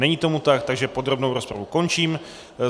Není tomu tak, takže podrobnou rozpravu končím.